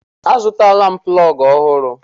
Azụtala m plọgụ ọhụrụ.